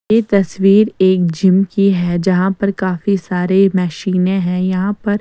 यह तस्वीर एक जिम की है जहां पर काफी सारे मशीनें हैं यहां पर।